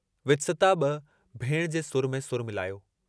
वित्सता बि भेण जे सुर में सुर मिलायो।